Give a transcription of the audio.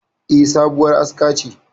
E, sabuwar aska ce.